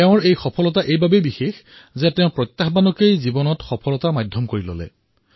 তেওঁৰ এই প্ৰাপ্তি এইটো কাৰণতে বিশেষ যে তেওঁ প্ৰত্যাহ্বানক নেওচিও এই পদক জয় কৰিছে